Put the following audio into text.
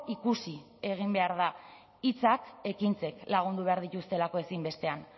ikusi egin behar da hitzak ekintzek lagundu behar dituztelako ezinbestean